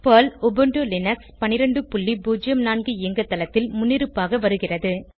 Perl Ubuntu Linux 1204 இயங்குதளத்தில் முன்னிருப்பாக வருகிறது